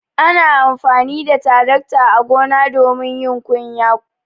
Ana amfani da tarakta a gona domin yin kunya.